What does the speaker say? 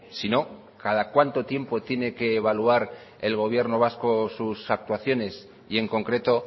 sino cada cuánto tiempo tiene que evaluar el gobierno vasco sus actuaciones y en concreto